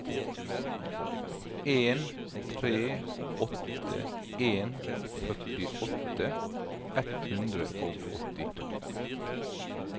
en tre åtte en førtiåtte ett hundre og åttito